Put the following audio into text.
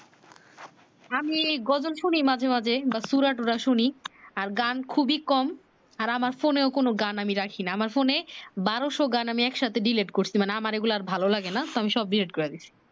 আমি গজল শুনি মাঝে মাঝে বা সুরা টুরা শুনি আর গান খুবি কম আমার ফোনেও কোনো গান আমি রাখি না আমর ফোনে বারোশ গান আমি এক সাথে ডিলেট করছি মানে আমার এই গুলা ভালো লাগে না তো আমি সব ডিলেট করেদিছি